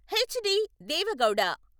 HD. Deve Gowda